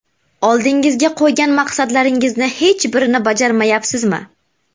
Oldingizga qo‘ygan maqsadlaringizning hech birini bajarmayapsizmi?